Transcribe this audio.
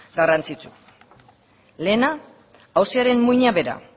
garrantzitsu lehena auziaren muina bera